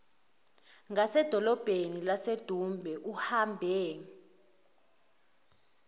ngasedolobheni lasedumbe uhambe